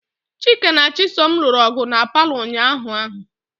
Chika na Chisom lụrụ ọgụ na paalọ ụnyaahụ ahụ.